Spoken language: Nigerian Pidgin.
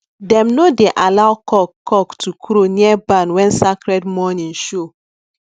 dem no dey allow cock cock to crow near barn when sacred morning show